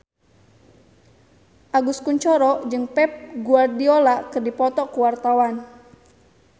Agus Kuncoro jeung Pep Guardiola keur dipoto ku wartawan